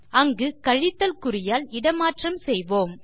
அங்கு கழித்தல் குறியால் இடமாற்றம் செய்வோம்